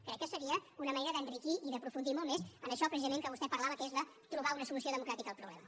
crec que seria una manera d’enriquir i d’aprofundir molt més en això precisament de què vostè parlava que és trobar una solució democràtica al problema